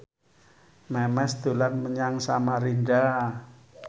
Memes dolan menyang Samarinda